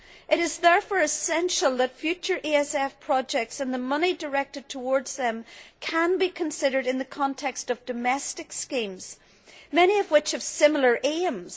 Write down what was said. It is therefore essential that future ESF projects and the money directed towards them can be considered in the context of domestic schemes, many of which have similar aims.